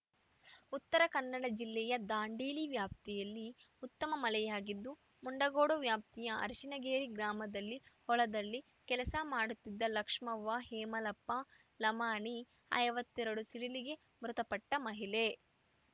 ಉತ್ತರ ಕನ್ನಡ ಜಿಲ್ಲೆಯ ದಾಂಡೇಲಿ ವ್ಯಾಪ್ತಿಯಲ್ಲಿ ಉತ್ತಮ ಮಳೆಯಾಗಿದ್ದು ಮುಂಡಗೋಡ ವಾಪ್ತಿಯ ಅರಶಿಣಗೇರಿ ಗ್ರಾಮದಲ್ಲಿ ಹೊಲದಲ್ಲಿ ಕೆಲಸ ಮಾಡುತ್ತಿದ್ದ ಲಕ್ಷ್ಮವ್ವ ಹೇಮಲಪ್ಪ ಲಮಾಣಿ ಐವತ್ತೆರಡು ಸಿಡಿಲಿಗೆ ಮೃತಪಟ್ಟಮಹಿಳೆ